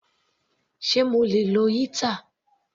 Sé mo lè lo heater?.